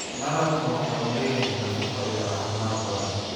Malabku waxa uu leeyahay nafaqo iyo caafimaad badan.